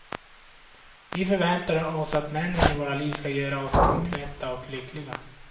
Vi förväntar oss att männen i våra liv ska göra oss kompletta och lyckliga.